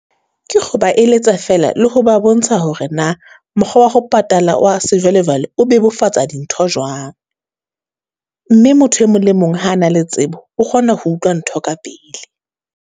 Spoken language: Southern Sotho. Ke kgo ba eletsa fela le ho ba bontsha hore na mokgwa wa ho patala wa sejwalejwale o bebofatsa dintho jwang, mme motho e mong le mong ha a na le tsebo, o kgona ho utlwa ntho ka pele.